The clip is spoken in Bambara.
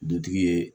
Dutigi ye